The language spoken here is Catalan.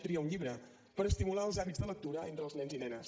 tria un llibre per estimular els hàbits de lectura entre els nens i nenes